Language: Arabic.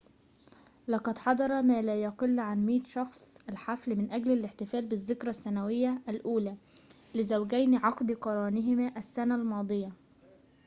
لقد حضر ما لا يقل عن 100 شخصٍ الحفل من أجل الاحتفال بالذكرى السنوية الأولى لزوجين عقد قرانهما السنة الماضية